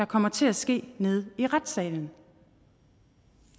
kommer til at ske nede i retssalen